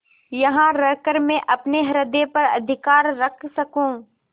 यहाँ रहकर मैं अपने हृदय पर अधिकार रख सकँू